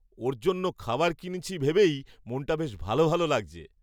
ওর জন্য খাবার কিনছি ভেবেই মনটা বেশ ভালো ভালো লাগছে।